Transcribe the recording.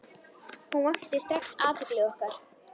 Hún vakti strax athygli okkar.